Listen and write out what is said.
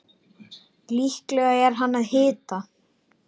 Líklega er hann með hita.